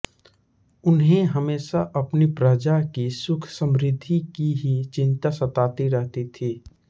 उन्हें हमेंशा अपनी प्रजा की सुखसमृद्धि की ही चिन्ता सताती रहती थी